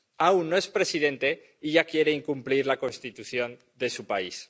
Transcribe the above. Aún no es presidente y ya quiere incumplir la Constitución de su país.